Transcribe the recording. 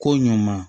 Ko ɲɔn ma